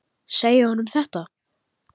Segja honum þetta?